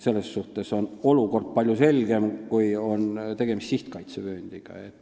Selles suhtes on olukord palju selgem siis, kui on tegemist sihtkaitsevööndiga.